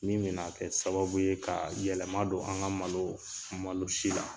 Min bɛna kɛ sababu ye kaa yɛlɛma don an ka malo malo si la.